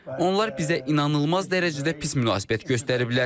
Onlar bizə inanılmaz dərəcədə pis münasibət göstəriblər.